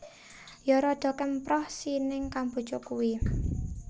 Yo rodo kemproh si ning Kamboja kui